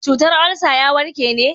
cutar olsa ya warke ne